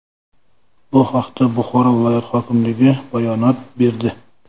Bu haqda Buxoro viloyati hokimligi bayonot berdi .